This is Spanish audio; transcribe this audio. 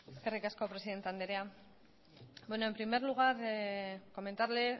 eskerrik asko presidente anderea en primer lugar comentarle